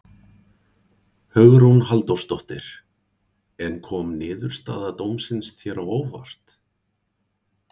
Hugrún Halldórsdóttir: En kom niðurstaða dómsins þér á óvart?